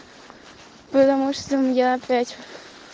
потому что я опять